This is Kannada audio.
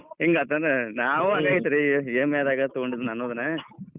ಹಿಂಗಾತ್ ಏನ್ ನಾವು ಅದೇ ಐತೀರಿ EMI ದಾಗ ತೊಗೊಂಡೇನಿ ನಾನೂ ಅದನ್ನ.